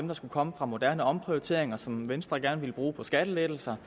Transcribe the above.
der skulle komme fra moderne omprioriteringer og som venstre gerne ville bruge på skattelettelser